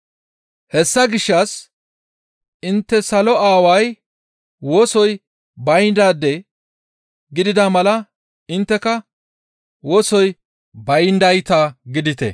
Hessa gishshas intte salo Aaway wosoy bayndaytas gidida mala intteka wosoy bayndaade gidite.